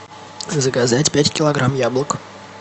заказать пять килограмм яблок